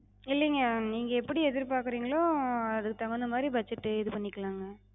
இல்லிங்க, நீங்க எப்டி எதிர்பாக்குறிங்களோ அதுக்குத் தகுந்தமாரி budget இது பண்ணிக்கலாங்க.